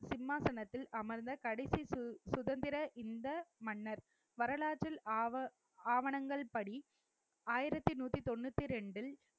சிம்மாசனத்தில் அமர்ந்த கடைசி சு~ சுதந்திர இந்த மன்னர் வரலாற்றில் ஆவ~ ஆவணங்கள் படி ஆயிரத்தி நூத்தி தொண்ணூத்தி இரண்டில்